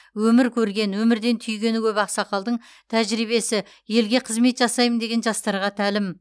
өмір көрген өмірден түйгені көп ақсақалдың тәжірибесі елге қызмет жасаймын деген жастарға тәлім